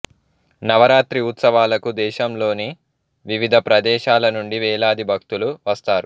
నవరాత్రి ఉత్సవాలకు దేశంలోని వివిధ ప్రదేశాల నుండి వేలాది భక్తులు వస్తారు